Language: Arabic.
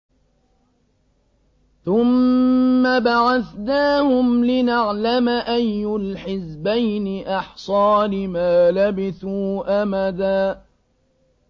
ثُمَّ بَعَثْنَاهُمْ لِنَعْلَمَ أَيُّ الْحِزْبَيْنِ أَحْصَىٰ لِمَا لَبِثُوا أَمَدًا